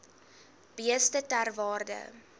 beeste ter waarde